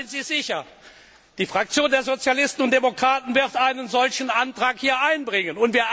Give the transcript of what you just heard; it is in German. Seien Sie sicher, die Fraktion der Sozialisten und Demokraten wird einen solchen Antrag einbringen.